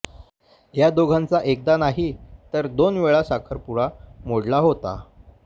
या दोघांचा एकदा नाही तर दोन वेळा साखरपुडा मोडला होता